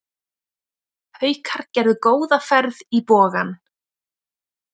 Haukar gerðu góða ferð í Bogann